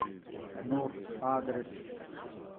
нур адрес